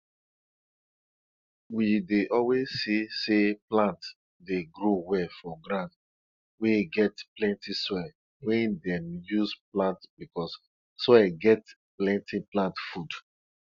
warming milk wey don spoil small go make am dey thick dey thick but soft like cheese and dis one go well for soup